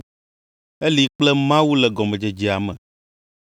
Eli kple Mawu le gɔmedzedzea me.